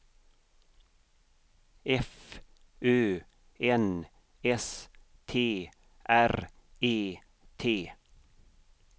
F Ö N S T R E T